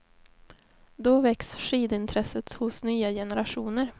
Då väcks skidintresset hos nya generationer.